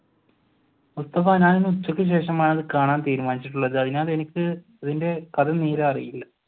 ഉച്ചക്ക് ശേഷമാണ് ഞാൻ കാണാൻ തിരുമാനിച്ചിട്ടുള്ളത് അതിനാൽ എനിക്ക് ഇതിന്റെ കഥ നേരെ അറിയില്ല.